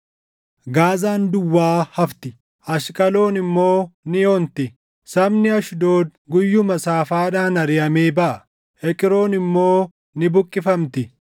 Gaazaan duwwaa hafti; Ashqaloon immoo ni onti. Sabni Ashdood guyyuma Saafaadhaan ariʼamee baʼa; Eqroon immoo ni buqqifamti.